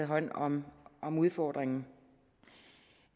hånd om om udfordringen